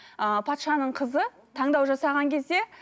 ыыы патшаның қызы таңдау жасаған кезде